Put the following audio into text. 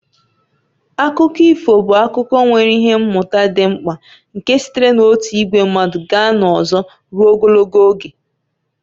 Akụkọ ifo bụ akụkọ nwere ihe mmụta dị mkpa nke sitere n'otu ìgwè mmadụ gaa n'ọzọ ruo ogologo oge.